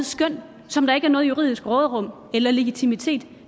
skøn som der ikke er noget juridisk råderum eller legitimitet